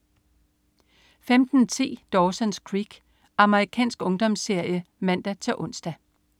15.10 Dawson's Creek. Amerikansk ungdomsserie (man-ons)